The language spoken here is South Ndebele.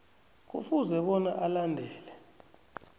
kufuze bona alandele